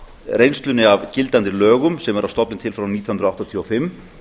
reynslunni af gildandi lögum sem eru að stofni til frá nítján hundruð áttatíu og fimm